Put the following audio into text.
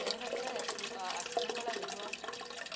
വേറേയെത്ര അസു അസുഖങ്ങളാ വരുവാ.